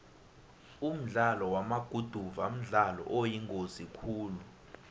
umdlalo wamaguduva mdlalo oyingozi khulu